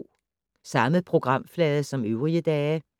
Samme programflade som øvrige dage